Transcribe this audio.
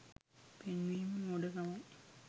පෙන්වීම මෝඩ කමයි